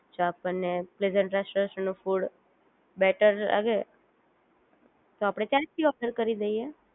જો આપણ ને પ્રેઝન્ટ રેસ્ટોરન્ટ નું ફૂડ બેટર લાગે તો આપડે ત્યાંથી ઓર્ડર કરી દઈએ